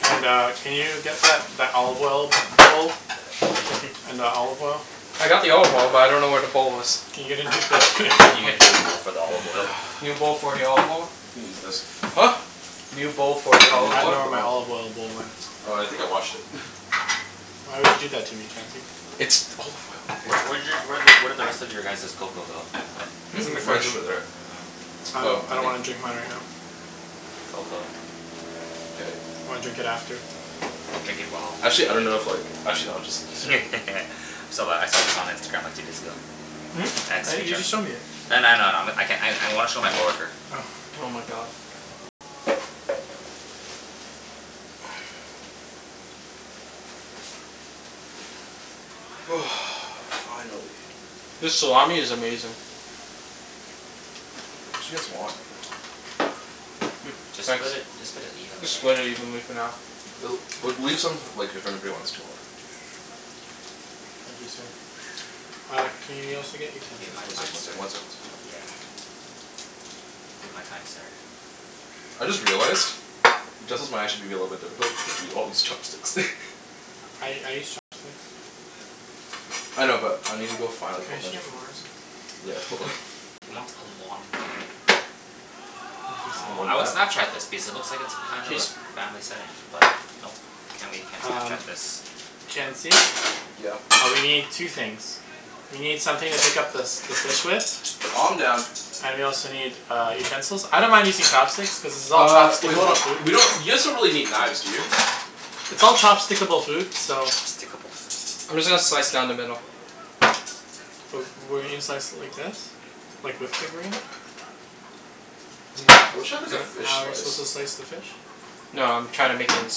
And uh, can you get that that olive oil bowl? And the olive oil? I got the olive oil, but I don't know where the bowl is. Can you get a new bowl for me? Can you get a new bowl for the olive oil? New bowl for the olive oil? You can use this. Huh? New bowl for the You need olive I a bowl dunno oil. where for the my olive oil. olive oil bowl went. Oh, I think I washed it. Why would you do that to me, Chancey? It's olive oil, Wh- where okay? did y- where did where did the rest of your guys's cocoa go? Hmm? It's It's in in the the fridge. Mine's fridge. over there. Oh. I Oh, lik- I I don't think wanna drink mine right now. Cocoa. K. I wanna drink it after. Drink it while you're Actually I don't know if eating. like, actually no, I'll just serve I it. saw th- I saw this on Instagram like, two days ago. Hmm? I- you just showed me it. I kn- I know, I know. I'm I can- I I wanna show my coworker. Oh. Oh my god. Finally. This salami is amazing. We should get some more. Mm, Just thanks. split it, just put it evenly Just split it I guess. evenly for now. L- well, leave some like, if anybody wants to more. Thank you, sir. Uh, can y- you also Thank get you, utensils, my One please? fine second, one sir. second, one second. Yeah. Thank you, my kind sir. I just realized utensils might actually be a little bit difficult because we all use chopsticks. I I use chopsticks. I know, but I need to go find Can like a I whole actually bunch of get more? forks. Yeah, hold on. He wants a lot more. Thank you, sir. Aw, I would Snapchat this because it looks like it's kind of a Cheese? family setting, but nope. Can't we can't Um Snapchat this. Chancey? Yeah? Uh, we need two things. We need something to pick up the s- the fish with. Calm down. And we also need, uh, utensils. I don't mind using chopsticks cuz this is all Uh, wait, hold chopstick-able on. food. We don't, you guys don't really need knives, do you? It's all chopstick-able food, so Chopstickable food. I'm just gonna slice down the middle. W- wouldn't you slice it like this? Like, with the grain? Isn't I that wish I had like isn't a that fish how you're supposed slice. to slice the fish? No, I'm trying to make it into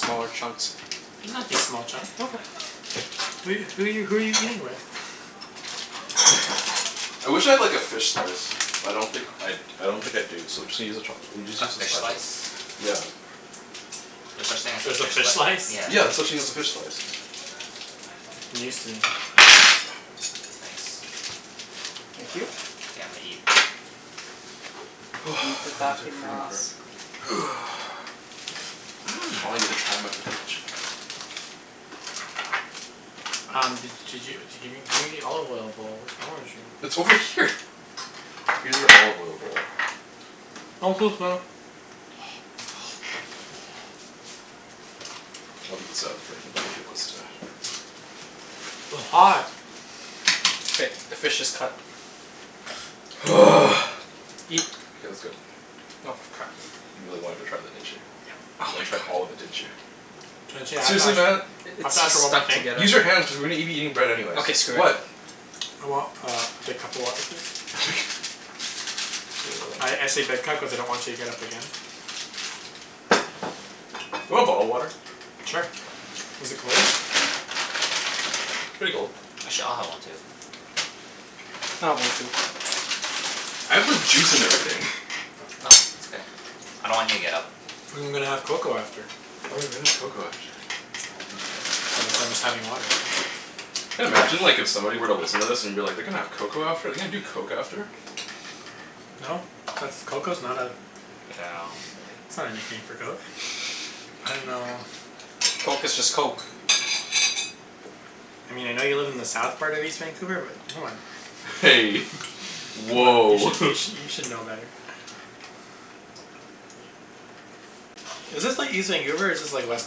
smaller chunks. They don't have to be small chunk. Okay. Who who are you who are you who are you eating with? I wish I had like a fish slice. But I don't think I d- I don't think I do, so just use a chopst- just A use a fish spatula. slice? Yeah. There's such thing as a There's a fish fish slice? slice? Yeah. Yeah, there's such thing as a fish slice. News to me. Ah, thanks. Thank you. Yeah, I'm gonna eat. Finally Mmm. get to try my focaccia. Um, d- did you d- give me gimme the olive oil bowl? Wrong with you? It's over here. Use an olive oil bowl. I'll leave this out for anybody who wants to W- hot. K, the fish is cut. Eat. K, let's go. Oh f- crap. You really wanted to try that, didn't you? Yep. Oh You my wanted to try all god. of it, didn't you? Chancey, I have to Seriously Mat? ask I- I have it's to ask just for one more stuck thing. together. Use your hands cuz we're gonna be eating bread anyways. Okay, screw it. What? I want uh, a big cup of water, please? Okay, hold I I on. say big cup cuz I don't want you to get up again. You want bottled water? Sure. Is it cold? Pretty cold. Actually, I'll have one too. I'll have one too. I have like juice and everything. No, it's okay. I don't want you to get up. I'm gonna have cocoa after. Oh right, we're gonna have cocoa after. So that's why I'm just having water. Can imagine like, if somebody were to listen to this, and be like, "They're gonna have cocoa after? They're gonna do coke after?" No. That's cocoa's not a Yeah. that's not anything for coke. I dunno Coke is just coke. Hey. You Woah! should you sh- you should know better. Is this like, east Vancouver, or is this like, west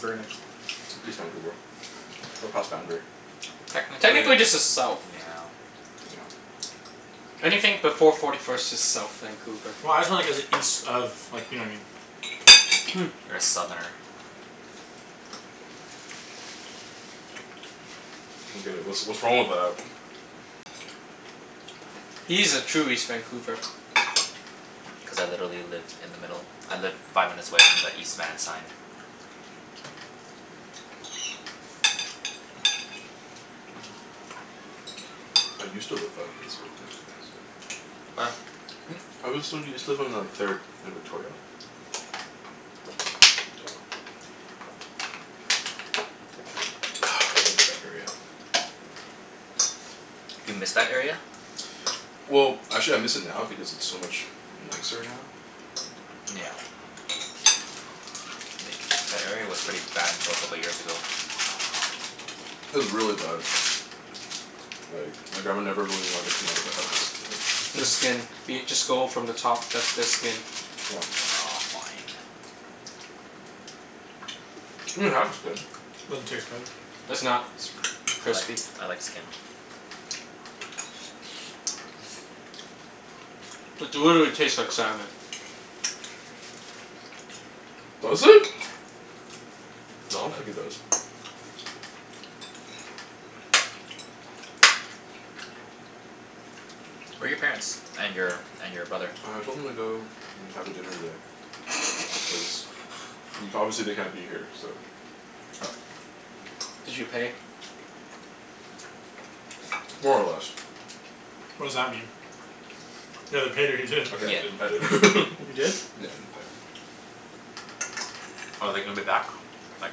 Burnaby? East Vancouver. We're past Boundary. Technically, yeah. Technically this is south. Yeah. I don't Anything before forty first is south Vancouver. Well, I was just wonder cuz it's east of, you know what I mean? You're a southerner. get it. What's what's wrong with that? He's a true east Vancouver. Cuz I literally live in the middle. I live five minutes away from the East Van sign. I used to live five minutes away from the East Van sign. Where? Hmm? I was so, used to live on like third and Victoria. I miss that area. Do you miss that area? Well, actually I miss it now because it's so much nicer now. Yeah. Like, that area was pretty bad until a couple years ago. It was really bad. Like, my grandma never really wanted to come out of the The skin. house. Be it, just go from the top. That's the skin. Yeah. Aw, fine. You can have the skin. Doesn't taste good. It's not I like crispy. I like skin. It literally tastes like salmon. Mmm. Does it? I Little don't think bit. it does. Where are your parents? And your and your brother? I told them to go and have a dinner today, cuz y- obviously they can't be here, so Did you pay? More or less. What does that mean? You either paid or you didn't. Okay, Yeah, I didn't. I an- didn't. You didn't? Yeah, I didn't pay. Are they gonna be back, like,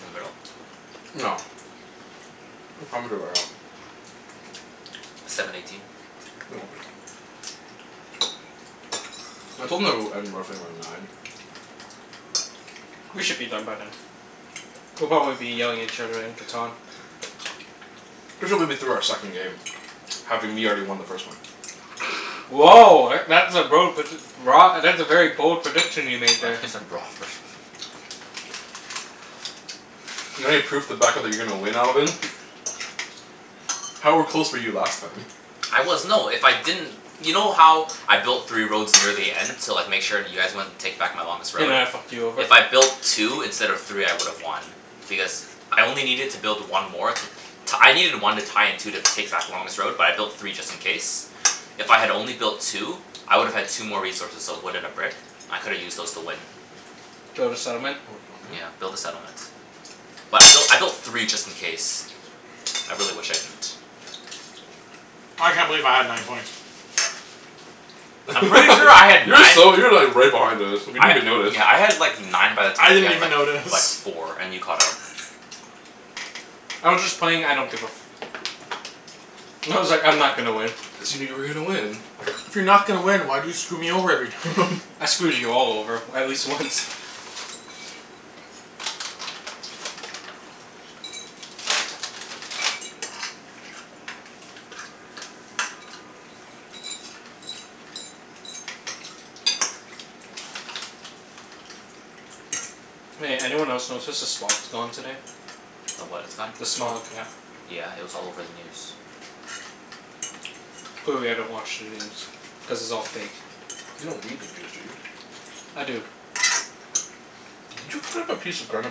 in the middle? No. What time is it right now? Seven eighteen. They won't be. I told them that it would end roughly around nine. We should be done by then. We'll probably be yelling at each other in Catan. We should be be through our second game. Having me already won the first one. Woah, e- that's a bro predic- broa- that's a very bold prediction you made I thought there. you said raw at first. Not any proof to back up that you're going to win, Alvin? How are close were you last time? I was, no, if I didn't You know how I built three roads near the end? To like, make sure you guys wouldn't take back my longest They road? might have fucked you over. If I built two instead of three I would have won. Because I only needed to build one more to t- I needed one to tie and two to take back the longest road, but I built three just in case. If I had only built two, I would have had two more resources. So a wood and a brick. I could've used those to win. Build a settlement? Yeah, build a settlement. But I built I built three just in case. I really wish I didn't. I can't believe I had nine points. I'm pretty sure I had You were nine so, you were like right behind us. We I didn't ha- even notice. yeah, I had like nine by the I time you didn't had even like f- like notice. four, and you caught up. I was just playing I don't give a f- I was like, "I'm not gonna win." Assuming you were gonna win? If you're not gonna win, why do you screw me over every time? I screwed you all over at least once. Hey, anyone else notice s- the smog's gone today? The what is gone? The smog, yeah. Yeah, it was all over the news. Clearly I don't watch the news. Cuz it's all fake. You don't read the news, do you? I do. Did you cut up a piece of Grana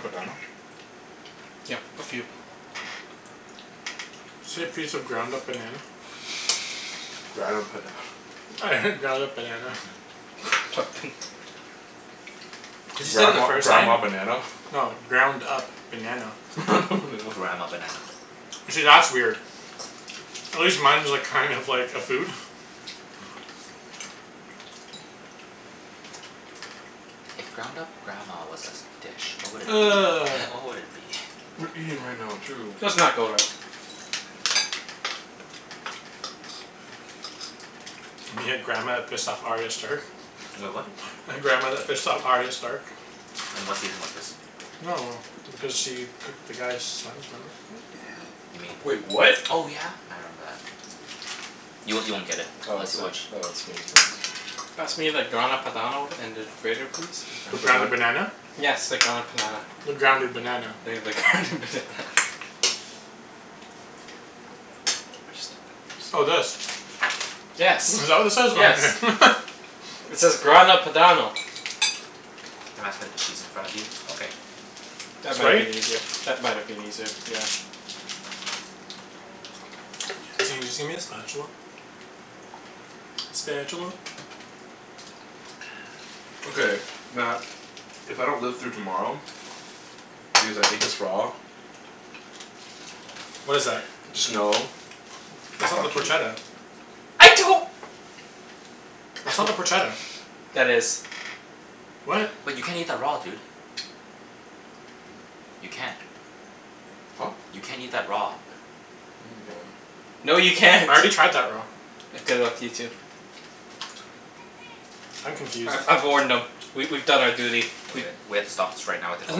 Padano? Yep, a few. Say piece of ground Grana up Pada- banana? I heard ground up banana. Cuz you said it the Grandma first time. grandma banana? No. Ground up banana. Grandma banana. See, that's weird. At least mine was like, kind of like a food. If ground up grandma was a s- dish, what would it be? What would it be? We're eating right now, too. Let's not go rub. We had grandma that pissed off Arya Stark? Wait, What? The grandma that pissed off Arya Stark. In what season was this? No no no. Because she cooked the guy's sons, remember? You mean, Wait, what? oh yeah! I remember that. Y- you won't get it Oh unless is you it watch oh, it's skin Pass me the Grana Padano and the grater please? The ground up Grana Padan- banana? Yes, the ground up panana. The grounded banana. Yeah, the ground up banana. Oh, this? Yes. Is that what this is? Oh Yes. okay. It says Grana Padano. Can you pass me the cheese in front of you? Okay. That might been easier. That might have been easier, yeah. the spatula? Spatula. Okay, Mat, if I don't live through tomorrow because I ate this raw What is that? just know It's not the fuck you. porchetta? I don't That's not the porchetta. That is. What? Wait, you can't eat that raw, dude. You can't. Huh? You can't eat that raw. Yeah, you can. No, you can't. I already tried that raw. Good luck to you, too. I'm confused. I I've warned No. them. We we've done our duty. We We h- we have to stop this right now and Isn't call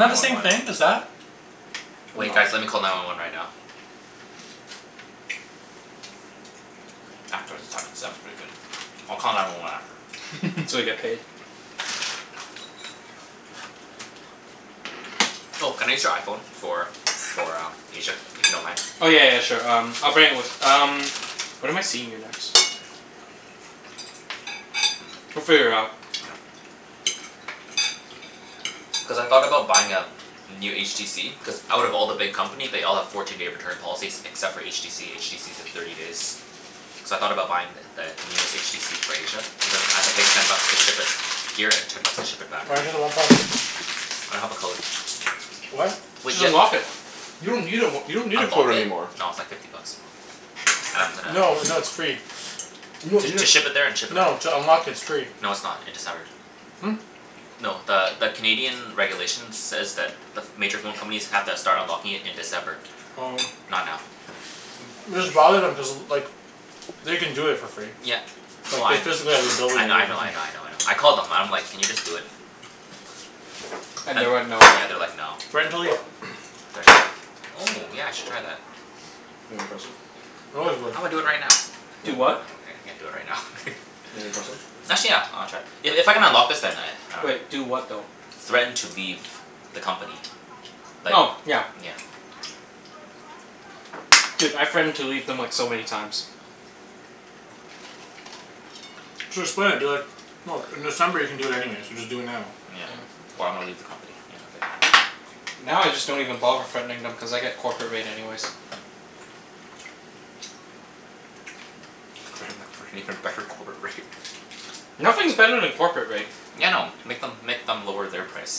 that nine the one same one. thing as that? Wait guys, No. let me call nine one one right now. After the salmon. The salmon's pretty good. I'll call nine one one after. So we get paid. Oh, can I use your iPhone for for uh, Asia, if you don't mind? Oh, yeah yeah yeah, sure. Um, I'll bring it with um When am I seeing you next? We'll Mm, figure it out. yeah. Cuz I thought about buying a new HTC Cuz out of all the big company they all have fourteen day return policies except for HTC. HTC's a thirty days. So I thought about buying th- the newest HTC for Asia. But then I have to pay ten bucks to ship it here and ten bucks to ship it back. Why don't you do the one plus? I don't have a code. What? Wait, Just ye- unlock it. You don't need a w- you don't need a Unlock code it? anymore. No, it's like fifty bucks. I'm gonna No, no, it's free. You don- To you to d- ship it there and ship it back? No, to unlock it, it's free. No, it's not. In December. Hmm? No, the the Canadian regulations says that the ph- major phone companies have to start unlocking it in December. Oh. Not now. Just bother them, cuz like they can do it for free. Yeah, well Like, I they kn- physically have the I kn- I ability to know, I know, I know, I know. I called them and I'm like, "Can you just do it?" And And they went, "No"? yeah, they're like, "No." Threaten to leave. Threaten to leave? Oh, yeah I should try that. Wanna try a sip? They always will. I'm gonna do it right now. Do what? What? I can't do it right now. You wanna try some? Actually, yeah. I wanna try. I- if I can unlock this then I, I dunno. Wait. Do what, though? Threaten to leave the company. Like, Oh, yeah. yeah. Dude, I threatened to leave them like, so many times. Just play it, be like, "Look, in December you can do it anyways, so just do it now." Yeah. "Or I'm gonna leave the company." Yeah, okay. Now, I just don't even bother threatening them cuz I get corporate rate anyways. Threaten them for an even better corporate rate. Nothing's better than corporate rate. Yeah, I know. Make them make them lower their price.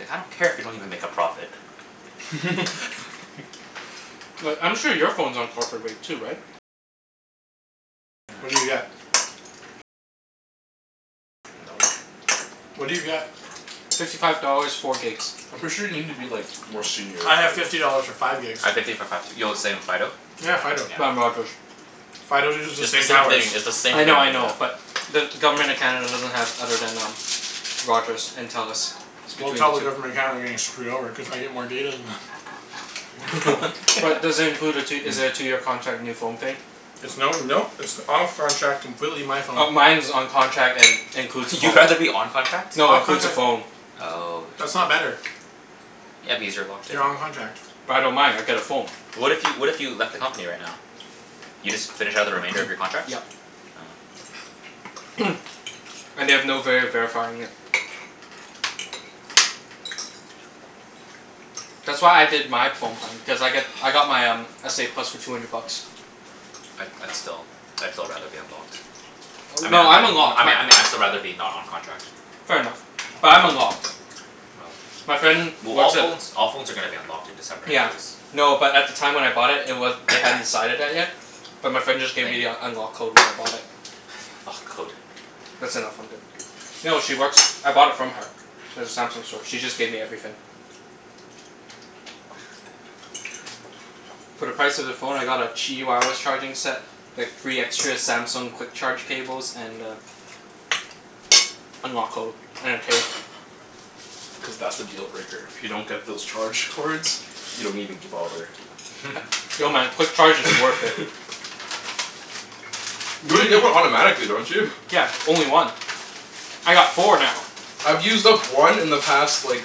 Like, I don't care if you don't even make a profit. Like, I'm sure your phone's on corporate rate too, right? Yeah. No. What do you get? Fifty five dollars, four gigs. I'm pretty sure you need to be like, more senior I have to get fifty it. dollars for five gigs. I have fifty for five too. Yo, the same, Fido? Yeah, Yeah, Fido. I'm yeah. Rogers. Fido uses It's the the same same thing. towers. It's the same I thing, know, I know, yeah. but the Government of Canada doesn't have other than um Rogers and Telus. It's Well, between tell the the two. Government of Canada they're getting screwed over, cuz I get more data than them. But does it include a tw- is it a two year contract, new phone thing? It's no, no. It's off contract, completely my phone. Oh, mine's on contract and includes a phone. You'd rather be on contract? No, includes a phone. Oh, I That's see. not better. Yeah, because you're locked in. You're on contract. But I don't mind. I get a phone. What if you, what if you left the company right now? You just finish out the remainder of your contracts? Yeah. Oh. And they have no vay of verifying it. That's why I did my phone plan. Cuz I got I got my um, s a plus for two hundred bucks. I'd I'd still, I'd still rather be unlocked. I mean No, I I'm mean I unlocked. My mean I mean I'd still rather be not on contract. Fair enough. But I'm unlocked. Oh. My friend Well, all works at phones all phones are gonna be unlocked in December Yeah. anyways. No, but at the time when I bought it, it wa- they hadn't decided that yet. But my friend just gave Thank me you. the unlock code when I bought it. Lock code. That's enough. I'm good. No, she works, I bought it from her. At the Samsung store. She just gave me everything. For the price of the phone I got a charging set. Like, three extra Samsung quick charge cables and a unlock code. And a case. Cuz that's the deal breaker. If you don't get those charge cords you don't even g- bother. No man, quick charge is worth it. You You already d- get one automatically, don't you? Yeah, only one. I got four now. I've used up one in the past like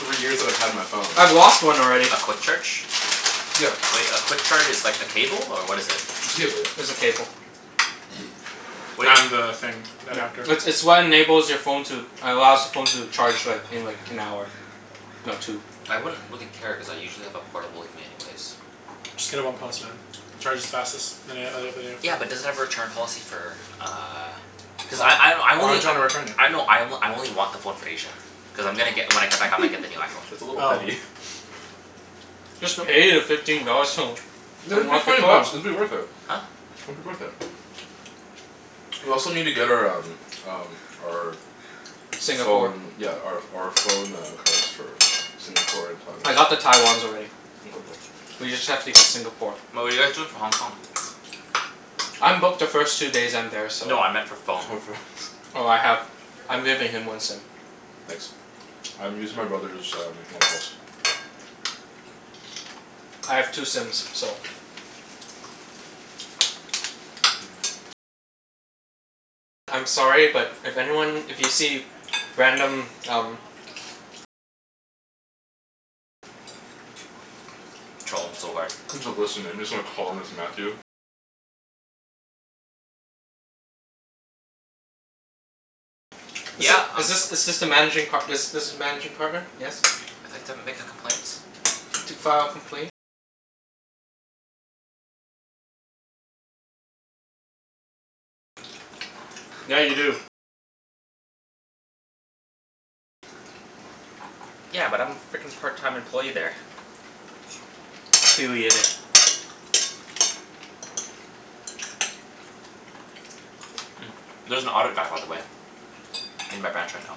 three years that I've had my phone. I've lost one already. A quick charge? Yeah. Wait, a quick charge is like a cable, or what is it? It's a cable, yeah. It's a cable. Wait And the thing. Yeah. Adapter. It's it's what enables your phone to allows the phone to charge like, in like, an hour. No, two. I wouldn't really care cuz I usually have a portable with me anyways. Just get a one plus, man. It charges fastest than an- oth- other Yeah, but does it have a return policy for uh Cuz I I I Why only would you wanna return it? I know, I o- I only want the phone for Asia. Cuz I'm gonna get, when I come back I'm gonna get the new iPhone. That's a little Oh. petty. Just pay the fifteen dollars to Yeah, just pay unlock your twenty phone. bucks. It'll be worth it. Huh? It'll be worth it. We also need to get our um um our Singapore. phone, yeah, our ph- our phone uh cards. For Singapore and I got the Taiwan. Taiwans already. We just have to get Singapore. But what are you guys doing for Hong Kong? I'm booked the first two days I'm there, so No, I meant for For phone. phones. Oh, I have, I'm giving him one sim. Nice. I'm using my brother's um one plus. I have two sims, so I'm sorry, but if anyone, if you see random, um Troll them so hard. Is th- Yeah, um is this is this the managing par- this this is managing partner? Yes? I'd like to make a complaint. To file a complaint Yeah, you do. Yeah, but I'm frickin' part time employee there. Affiliated. Mm, there's an audit guy, by the way. In my branch right now.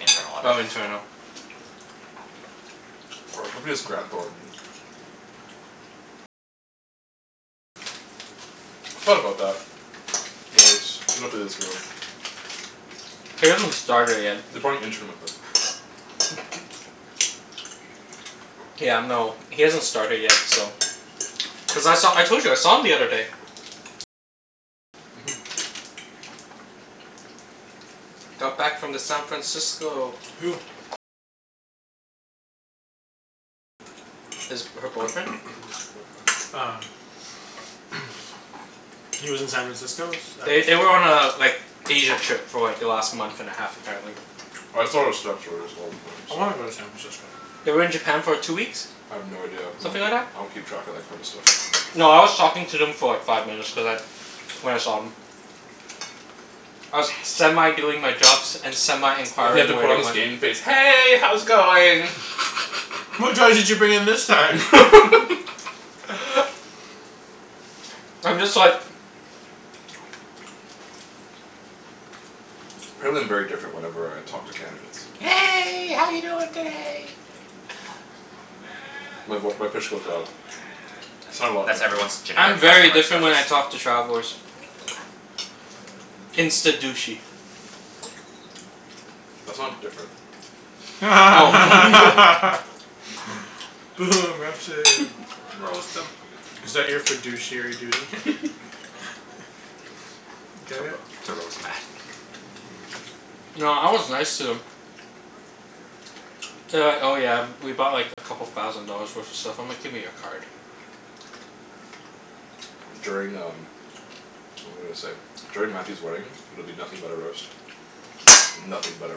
Oh, internal. For our company it's Graham Thornton. I thought about that. He hasn't started yet. They're probably interning with him. Yeah, no, he hasn't started yet, so Cuz I saw, I told you I saw him the other day. Mhm. Got back from the San Francisco. Who? His, her boyfriend. Ah. He lives in San Francisco? Is They th- they were on a like, Asia trip for like, the last month and a half apparently. I wanna go to San Francisco. They were in Japan for two weeks. I have no idea. I Something like don't that. I don't keep track of that kind of stuff. No, I was talking to them for like, five minutes cuz I when I saw 'em. I was semi doing my jobs and semi He had to inquiring where put they on his went. game face. "Hey, how's it going?" What drugs did you bring in this time? I'm just like Apparently I'm very different whenever I talk to candidates. "Hey, how you doing today?" My voi- my pitch goes up. I sound a lot That's nicer. everyone's I'm generic very different when customer I service. talk to travelers. Insta douchey. That's not different. Oh Is that your fiduciary duty? f- To Get it? ro- to roast Mat. No, I was nice to them. They were like, "Oh yeah, we bought like, a couple thousand dollars worth of stuff." I'm like, "Give me your card." During um, what was I gonna say? During Mathew's wedding, it'll be nothing but a roast. Nothing but a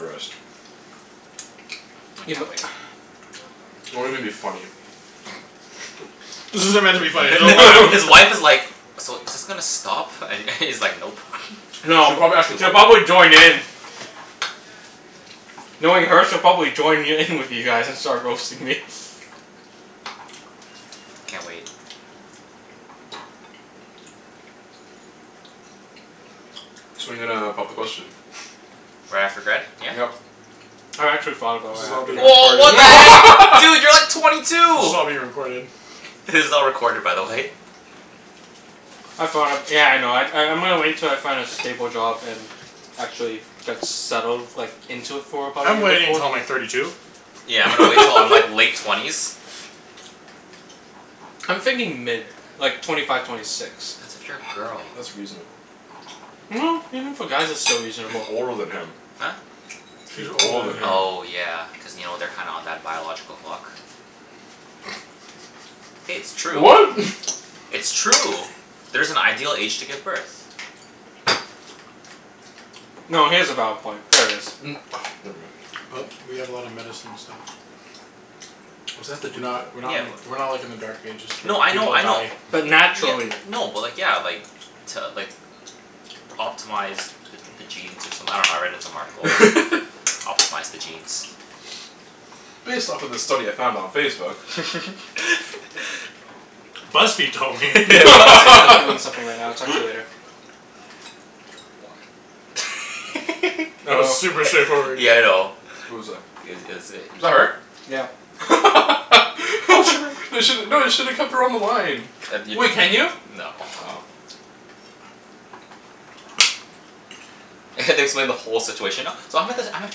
roast. I You mi- can't wait. It won't even be funny. This isn't meant to be funny His wife is like, "So, is this gonna stop?" And he's like, "Nope." No, She probably actually she'll would. probably join in. Knowing her, she'll probably join y- in with you guys and start roasting me. Can't wait. So when are you gonna pop the question? Right after grad, yeah? Yep. I actually thought about This is right all after being grad. Woah, what the heck? Dude! You're like twenty This two! is all being recorded. This is all recorded, by the way. I thought of, yeah, I know. I I'm gonna wait till I find a stable job and actually get settled like, into it for about a I'm year waiting before. until I'm like thirty two. Yeah, I'm gonna wait til I'm like late twenties. I'm thinking mid. Like, twenty five, twenty six. That's if you're a girl. That's reasonable. No, even for guys it's still She's reasonable. older than him. Huh? She's She's older older than than him. him. Oh yeah, cuz you know, they're kinda on that biological clock. Hey, it's true. What? It's true. There's an ideal age to give birth. No, he has a valid point. There is. Mm, But we never have a lot of mind. medicine and stuff. What does that We're have to do with not we're not Yeah, like w- we're not like in the dark ages No, where I know, people I know. die. But Ye- naturally. n- no, but like, yeah, like to like optimize the the genes or someth- I dunno, I read it in some article. it? Optimize the genes. Based off of this study I found on Facebook. BuzzFeed told me. Hey babe. BuzzFeed I'm told I'm doing me. something right now. I'll talk to you later. That was Oh. super straightforward. Yeah, I know. Who was that? I- it is Was i- that her? Yeah. You should, no, you should've kept her on the line. No. Oh. I have to explain the whole situation now. So I'm at this, I'm at